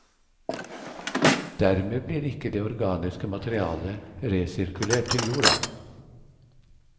Dermed blir ikke det organiske materialet resirkulert til jorda.